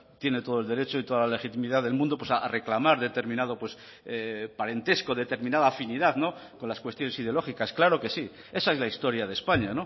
tiene todo el derecho y toda la legitimidad del mundo a reclamar determinado parentesco determinada afinidad con las cuestiones ideológicas claro que sí esa es la historia de españa